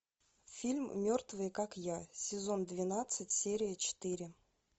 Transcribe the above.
фильм мертвые как я сезон двенадцать серия четыре